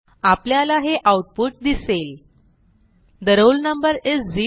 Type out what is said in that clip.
आपल्याला हे आऊटपुट दिसेल ठे रोल नंबर इस 0